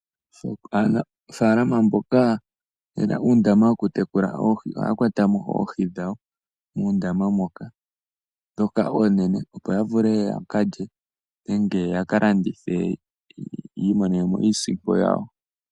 Aanafaalama mboka ye na uundama wokukwata oohi ohaya kwata mo oohi dhawo muundama moka ndoka oonene, opo yavule yaka lye nenge yaka landithe yi imonene mo iisimpo yawo.